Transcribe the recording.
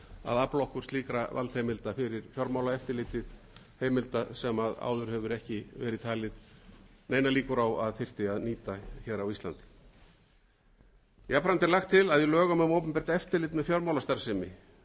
að afla okkur slíkra valdheimilda fyrir fjármálaeftirlitið heimilda sem áður hafa ekki verið taldar neinar líkur á að þyrfti að nýta hér á landi jafnframt er lagt til að í lögum um opinbert eftirlit með fjármálastarfsemi